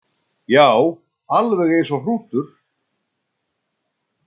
Já, alveg eins og hrútur.